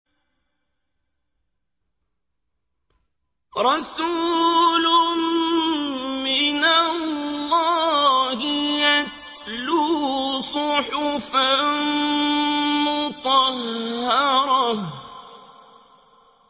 رَسُولٌ مِّنَ اللَّهِ يَتْلُو صُحُفًا مُّطَهَّرَةً